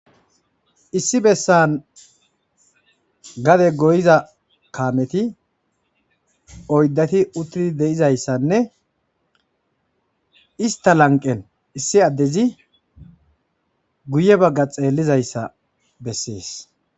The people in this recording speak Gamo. Issi bessan gade goyiza kaameti oyddati uttidi de'izayssanne ista lanqen issi addezi guye bagga xeellizay issa bessees.